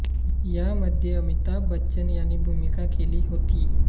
या मध्ये अमिताभ बच्चन यांनी भूमिका केली होती